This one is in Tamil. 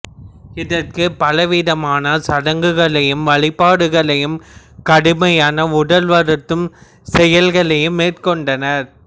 இதற்கு பலவிதமான சடங்குகளையும் வழிபாடுகளையும் கடுமையான உடல் வருத்தும் செயல்களையும் மேற்கொண்டனர்